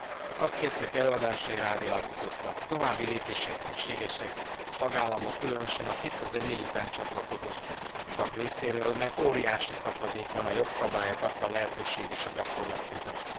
A szakértők előadásai rávilágítottak további lépések szükségesek a tagállamok, különösen a 2004 után csatlakozott tagállamok részéről, mert óriási szakadék van a jogszabályok adta lehetőség és a gyakorlat között.